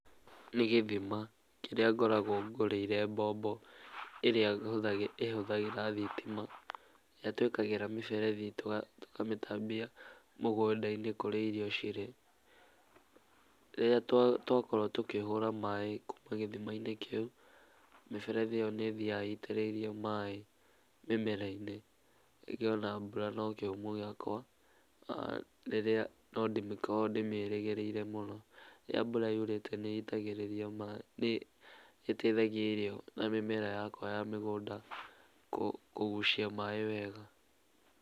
Nĩ gĩthima kĩrĩa ngoragwo ngũrĩire mbombo ĩrĩa ĩhũthagĩra thitima, ĩrĩa twĩkĩraga mĩberethi tũkamĩtambia mũgũnda-inĩ kũrĩa irio cirĩ. Rĩrĩa twakorwo tũkĩhũra maaĩ kuma gĩthimainĩ kĩu, mĩberethi ĩyo nĩĩthiyaga ĩitĩrĩirie maaĩ mĩmera-inĩ. Ningĩ o na mbura no kĩhumo gĩakwa, rĩrĩa no ndikoragwo ndĩmĩrĩgĩrĩire mũno, rĩrĩa mbura yurĩte nĩ itagĩrĩria maaĩ, nĩĩteithagia irio na mĩmera yakwa ya mĩgũnda kũgucia maaĩ wega.